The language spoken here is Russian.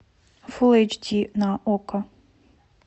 фул эйч ди на окко